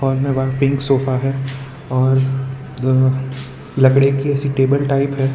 सामने one pink sofa है और अं लकड़ी के ऐसे टेबल टाइप है।